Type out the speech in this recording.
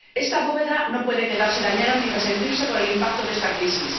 Esta bóveda no puede quedarse dañada ni resentirse por el impacto de esta crisis